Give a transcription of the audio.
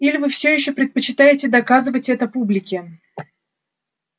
или вы всё ещё предпочитаете доказывать это публике